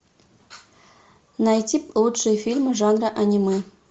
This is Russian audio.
найти лучшие фильмы жанра аниме